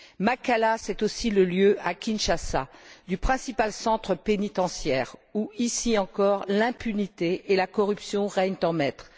Makala, c'est aussi le lieu, à Kinshasa, du principal centre pénitentiaire où, ici encore, l'impunité et la corruption règnent en maîtres.